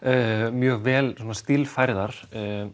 mjög vel stílfærðar